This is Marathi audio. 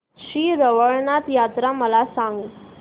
श्री रवळनाथ यात्रा मला सांग